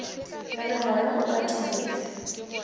re re moya o kateletšwe